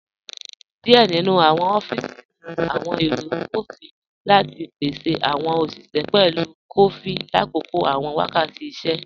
Díẹ̀ nínu awọn ọfíísì ní awọn èrò kọfí lati pèsè awọn oṣiṣẹ pẹ̀lú kọfí látòkò awọn wákàtì ìṣẹ̀.